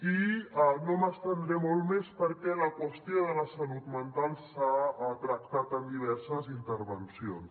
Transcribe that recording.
i no m’estendré molt més perquè la qüestió de la salut mental s’ha tractat en diverses intervencions